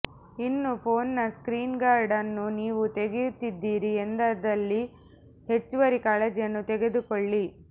ಇನ್ನು ಫೋನ್ನ screen guard ಅನ್ನು ನೀವು ತೆಗೆಯುತ್ತಿದ್ದೀರಿ ಎಂದಾದಲ್ಲಿ ಹೆಚ್ಚುವರಿ ಕಾಳಜಿಯನ್ನು ತೆಗೆದುಕೊಳ್ಳಿ